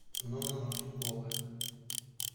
нонна мордюкова